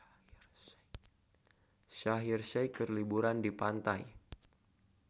Shaheer Sheikh keur liburan di pantai